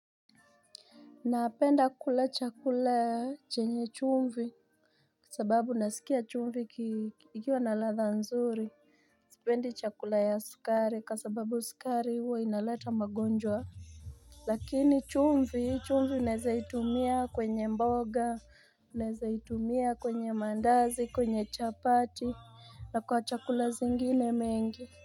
Napenda kula chakula chenye chumvi sababu nasikia chumvi ikiwa na latha nzuri Sipendi chakula ya sukari kwa sababu sukari huwa inaleta magonjwa Lakini chumvi unawezaitumia kwenye mboga unawezaitumia kwenye mandazi kwenye chapati na kwa chakula zingine mengi.